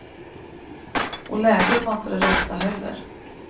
Och läget var inte det rätta heller.